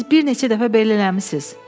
Siz bir neçə dəfə belə eləmisiz.